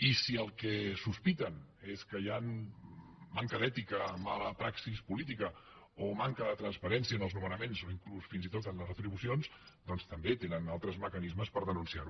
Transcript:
i si el que sospiten és que hi ha manca d’ètica mala praxi política o manca de transparència en els nomenaments o inclús fins i tot en les retribucions doncs també tenen altres mecanismes per denunciar ho